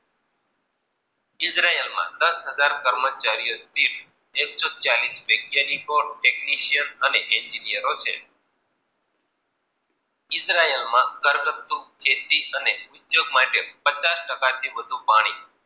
હજાર કર્મચારીઓ થી એકસો ચાલીસ technishayn અને એનગીનીરો છે. ઈજરાયળ માં ઘરગતું ખેતી માટે ઉધ્યોગ માટે પાણી